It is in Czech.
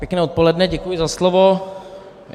Pěkné odpoledne, děkuji za slovo.